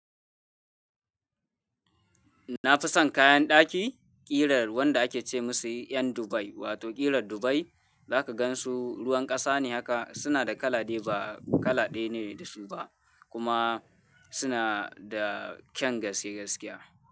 Na fi son kayan daki ƙirar wanda ake ce musu 'yan Dubai wato ƙirar Dubai. Za ka gan su ruwan ƙasa ne haka, suna da kala dai ba kala ɗaya ne da su ba kuma suna da kyan gaske gaskiya.